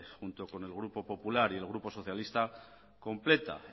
junto con el grupo popular y el grupo socialista completa